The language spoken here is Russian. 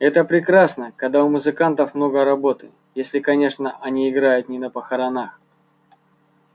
это прекрасно когда у музыкантов много работы если конечно они играют не на похоронах